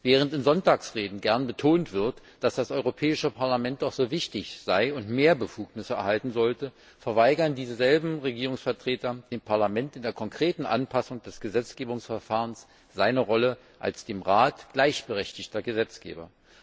Während in Sonntagsreden gern betont wird, dass das Europäische Parlament doch so wichtig sei und mehr Befugnisse erhalten sollte, verweigern dieselben Regierungsvertreter dem Parlament in der konkreten Anpassung des Gesetzgebungsverfahrens seine Rolle als dem Rat gleichberechtigter Gesetzgeber.